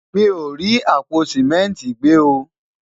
mí o rí àpò simẹnti gbe o